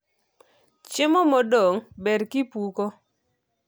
Chiemo modong ber kipuko.